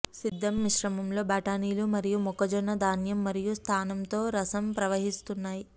సిద్ధం మిశ్రమం లో బటానీలు మరియు మొక్కజొన్న ధాన్యం మరియు స్థానం తో రసం ప్రవహిస్తున్నాయి